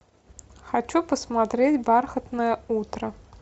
хочу посмотреть бархатное утро